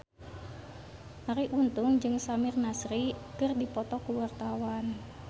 Arie Untung jeung Samir Nasri keur dipoto ku wartawan